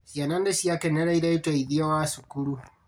Ciana nĩciakenereire ũteithio wa cukuru